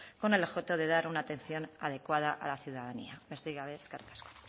con el objeto de dar una atención adecuada a la ciudadanía besterik gabe eskerrik asko